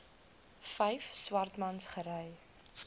vyf swartmans gery